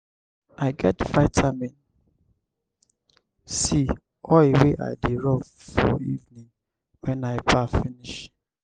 i get vitamin c oil wey i dey rob for evening wen i baff finish.